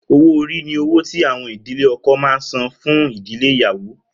Owó orí ni owó tí àwọn ìdílé ọkọ máa ń san fún ìdílé ìyàwó